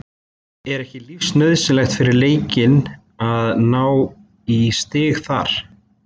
Er ekki lífsnauðsynlegt fyrir Leikni að ná í stig þar?